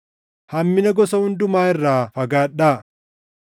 Hammina gosa hundumaa irraa fagaadhaa.